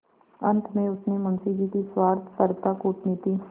अंत में उसने मुंशी जी की स्वार्थपरता कूटनीति